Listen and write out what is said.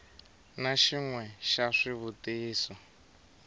na xin we xa swivutiso